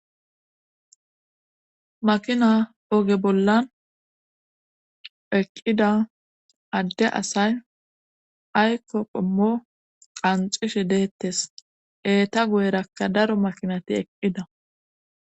Makina oge bollan eqqida adde asay aykko qommo qanxishe deettes eeta guyerakka daro makinati eqqida.